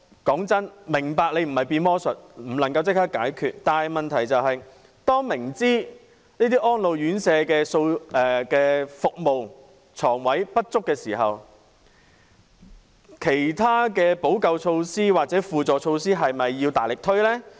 坦白說，我明白你不是魔術師，不能立即解決困難，但問題是明知這些安老院舍的服務、床位不足時，其他補救措施是否應該大力推行呢？